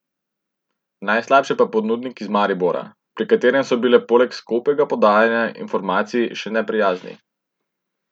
Najslabše pa ponudnik iz Maribora, pri katerem so bili poleg skopega podajanja informacij še neprijazni.